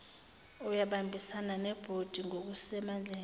uyabambisana nebhodi ngokusemandleni